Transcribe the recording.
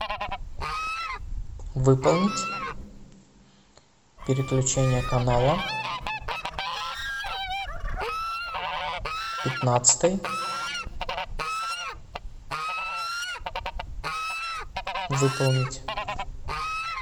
выполнить переключение канала пятнадцатый выполнить